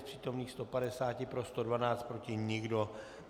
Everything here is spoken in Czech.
Z přítomných 150 pro 112, proti nikdo.